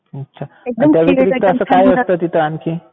अच्छा. त्याव्यतिरिक्त काय असतं तिथे आणखी?